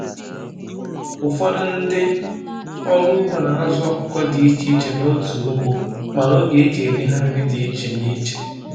Ụfọdụ ndị ọrụ ugbo n'azu ọkụkọ dị ichè ichè n'otu ugbo, mana ógè eji enye ha nri dị n'iche n'iche.